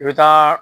I bɛ taa